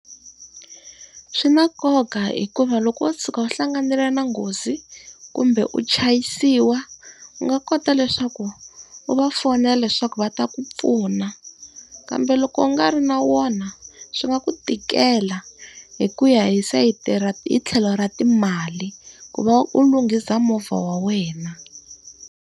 Swi na nkoka hikuva loko wo tshuka u hlanganile na nghozi, kumbe u chayisiwa u nga kota leswaku u va fonela leswaku va ta ku pfuna. Kambe loko u nga ri na wona, swi nga ku tikela hi ku ya hi sayiti ra hi tlhelo ra timali, ku va u lunghisa movha wa wena.